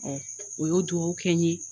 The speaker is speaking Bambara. o y'o duwɔwu kɛ n ye